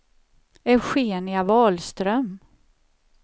Eugenia Wahlström